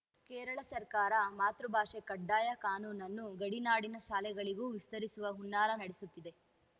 ಕೇರಳ ಸರ್ಕಾರ ಮಾತೃ ಭಾಷೆ ಕಡ್ಡಾಯ ಕಾನೂನನ್ನು ಗಡಿನಾಡಿನ ಶಾಲೆಗಳಿಗೂ ವಿಸ್ತರಿಸುವ ಹುನ್ನಾರ ನಡೆಸುತ್ತಿದೆ